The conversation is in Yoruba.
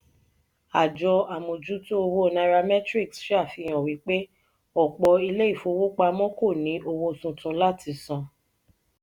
àjọ amojuto owo nairametrics ṣàfihàn wípé ọpọ ilé ìfowópamọ́ kò ní owó tuntun láti san.